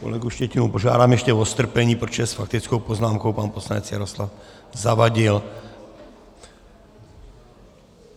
Kolegu Štětinu požádám ještě o strpení, protože s faktickou poznámkou pan poslanec Jaroslav Zavadil.